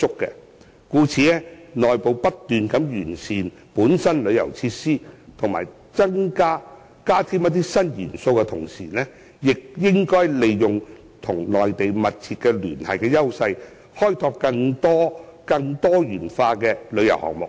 故此，在內部不斷完善旅遊措施及加添新元素之餘，當局亦應該利用與內地密切聯繫的優勢，開拓更多元化的旅遊項目。